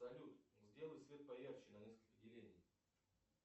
салют сделай свет поярче на несколько делений